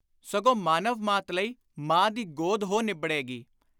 ਸਗੋਂ ਮਾਨਵਮਾਤ ਲਈ ਮਾਂ ਦੀ ਗੋਦ ਹੋ ਨਿਬੜੇਗੀ।